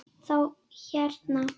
Þá hérna.